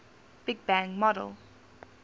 big bang model